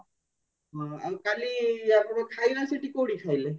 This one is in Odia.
ହଁ ଆଉ କାଲି କଉଠି ଖାଇଲେ